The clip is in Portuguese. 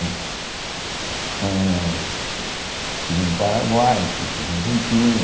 âh Estive no Paraguai, estive na Argentina,